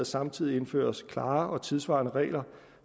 samtidig indføres klare og tidssvarende regler